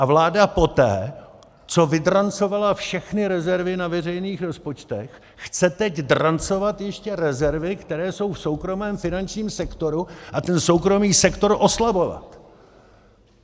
A vláda poté, co vydrancovala všechny rezervy na veřejných rozpočtech, chce teď drancovat ještě rezervy, které jsou v soukromém finančním sektoru, a ten soukromý sektor oslabovat.